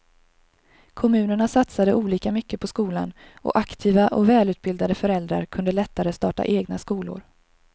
Kommunerna satsade olika mycket på skolan och aktiva och välutbildade föräldrar kunde lättare starta egna skolor.